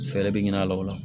Fɛɛrɛ bɛ ɲini a la o la